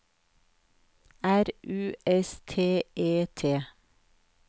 R U S T E T